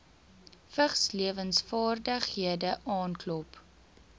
vigslewensvaardighede aanklop